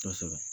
Kosɛbɛ